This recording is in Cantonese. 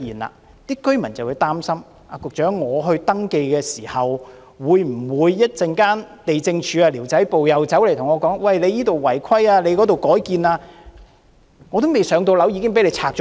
這些居民擔心在登記後，地政總署的寮屋管制辦事處會說他們這裏違規，那裏改建，結果他們還未"上樓"，房屋便被拆掉。